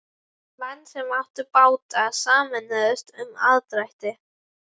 Menn sem áttu báta sameinuðust um aðdrætti.